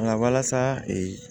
Nka walasa